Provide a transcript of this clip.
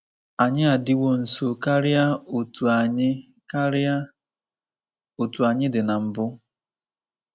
“Anyị adiwo nso karịa otú anyị karịa otú anyị dị na mbụ.